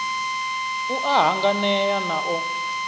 u a hanganea na o